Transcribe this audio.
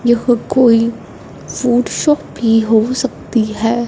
यह कोई food shop भी हो सकती है।